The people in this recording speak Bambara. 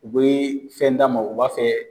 U be fɛn d'a ma, u b'a fɛ